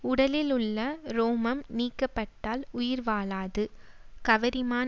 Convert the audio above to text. உடலில் உள்ள உரோமம் நீக்கப்பட்டால் உயிர் வாழாது கவரிமான்